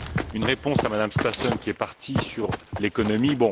Une réponse à Mme Stassen, qui est partie, sur l'économie.